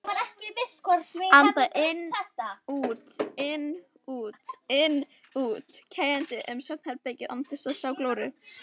Anda inn-út-inn-út-inn-út, kjagandi um svefnherbergið án þess að sjá glóru.